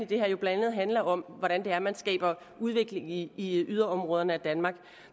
det her jo blandt andet handler om hvordan det er man skaber udvikling i yderområderne af danmark